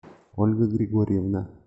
ольга григорьевна